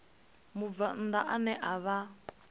mubvann ḓa ane a vha